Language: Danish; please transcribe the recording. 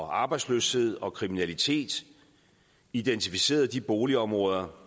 arbejdsløshed og kriminalitet identificerede de boligområder